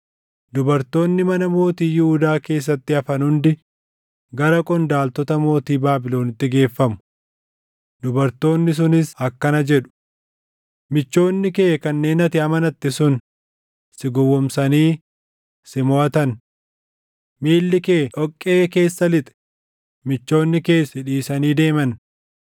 Dubartoonni mana mootii Yihuudaa keessatti hafan hundi gara qondaaltota mootii Baabilonitti geeffamu. Dubartoonni sunis akkana jedhu: “ ‘Michoonni kee kanneen ati amanatte sun, si gowwoomsanii; si moʼatan. Miilli kee dhoqqee keessa lixe; michoonni kees si dhiisanii deeman.’